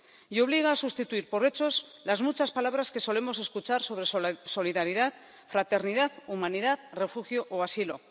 Y obliga a sustituir por hechos las muchas palabras que solemos escuchar sobre solidaridad, fraternidad, humanidad, refugio o asilo.